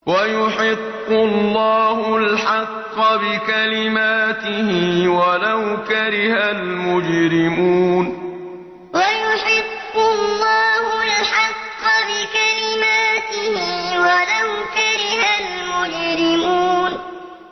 وَيُحِقُّ اللَّهُ الْحَقَّ بِكَلِمَاتِهِ وَلَوْ كَرِهَ الْمُجْرِمُونَ وَيُحِقُّ اللَّهُ الْحَقَّ بِكَلِمَاتِهِ وَلَوْ كَرِهَ الْمُجْرِمُونَ